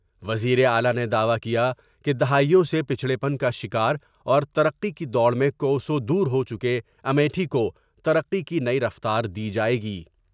وزیر اعلی نے دعوی کیا کہ دہائیوں سے پچڑے پن کا شکار اورترقی کی دوڑ میں کوسوں دور ہو چکے امیٹھی کو ترقی کی نئی رفتار دی جاۓ گی ۔